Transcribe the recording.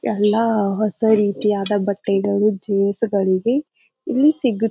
ಎಲ್ಲ ಹೊಸ ರೀತಿಯಾದ ಬಟ್ಟೆಗಳು ಜೀನ್ಸ್ ಗಳಿವೆ ಇಲ್ಲಿ ಸಿಗು --